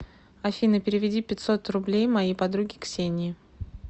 афина переведи пятьсот рублей моей подруге ксении